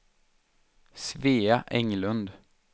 Svea Englund